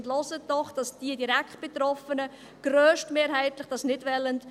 Hören Sie doch den Direktbetroffenen zu, welche dies grösstmehrheitlich nicht wollen.